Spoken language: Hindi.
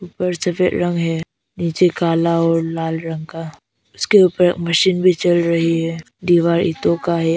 ऊपर सफेद रंग है नीचे काला और लाल रंग का उसके ऊपर मशीन भी चल रही है दीवार ईटों का है।